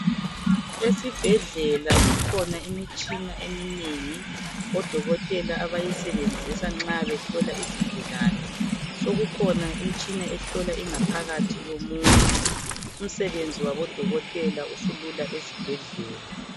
Esibhedlela kukhona imitshina eminengi odokotela abayisebenzisa nxa behlola izigulani, sokukhona imitshina ehlola ingaphakathi yomuntu umsebenzi wabo dokotela isilula ezibhedlela.